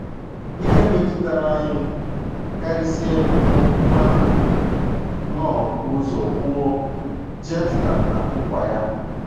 Ihe metụtara anyị karịsịa bụ okwu Nwanna Knorr bu ụzọ kwuo, “ Jefta na Nkwa Ya. ”